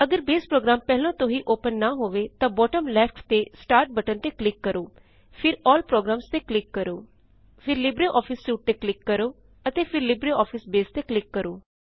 ਅਗਰ Base program ਪਹਿਲੇ ਤੋ ਹੀ ਓਪਨ ਨਾਂ ਹੋਵੇ ਤਾਂ ਬੌਟਮ ਲੇਫਟ ਤੇ ਸਟਾਰਟ ਬਟਨ ਤੇ ਕਲਿਕ ਕਰੋਫਿਰ ਏਐਲਐਲ ਪ੍ਰੋਗਰਾਮਜ਼ ਤੇ ਕਲਿਕ ਕਰੋ ਫਿਰ ਲਿਬਰਿਓਫਿਸ ਸੂਟ ਤੇ ਕਲਿਕ ਕਰੋ ਅਤੇ ਫਿਰ ਲਿਬਰਿਓਫਿਸ ਬਾਸੇ ਤੇ ਕਲਿਕ ਕਰੋ